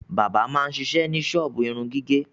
Bábà máa ń ṣiṣẹ́ ní ṣọ́ọ́bù irun gígẹ̀.